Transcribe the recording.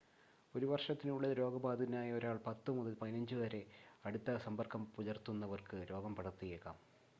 ഒരു വർഷത്തിനുള്ളിൽ രോഗബാധിതനായ ഒരാൾ 10 മുതൽ 15 വരെ അടുത്ത സമ്പർക്കം പുലർത്തുന്നവർക്ക് രോഗം പടർത്തിയേക്കാം